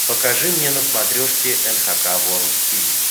покажи мне на смотрешке эн эйч кей волд ти ви